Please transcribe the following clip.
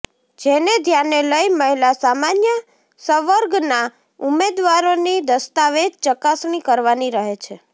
જેને ધ્યાને લઇ મહિલા સામાન્ય સંવર્ગના ઉમેદવારોની દસ્તાવેજ ચકાસણી કરવાની રહે છે